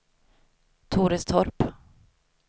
Torestorp